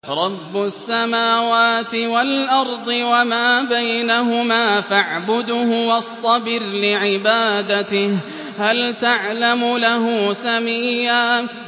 رَّبُّ السَّمَاوَاتِ وَالْأَرْضِ وَمَا بَيْنَهُمَا فَاعْبُدْهُ وَاصْطَبِرْ لِعِبَادَتِهِ ۚ هَلْ تَعْلَمُ لَهُ سَمِيًّا